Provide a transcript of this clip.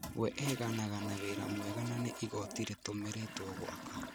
We eganaga na wĩra mwega na nĩ igoti rĩtũmĩrĩtwo gwaka